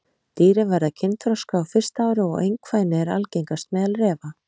Dýrin verða kynþroska á fyrsta ári og einkvæni er algengast meðal refa.